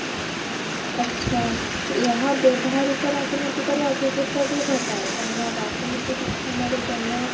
ଆଛା ଏହା ବ୍ୟବହାରିକ ରାଜନୀତିକ ରେ ଅଭିବୃଦ୍ଧି ବି ଘଟାଏ କାରଣ ରାଜନୀତି ବିଜ୍ଞାନ ରେ ଜନ